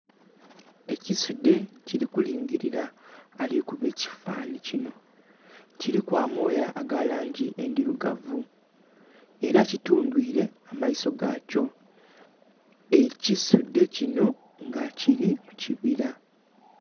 Ekisudhe kiri kulingirira alikukuba ekifanhanhi kinho, kiliku amooya agalangi endhirugavu era kitungwire amaiso gakyo ekisudhe kinho nga kiri mukibira.